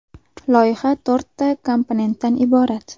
Loyiha to‘rtta komponentdan iborat.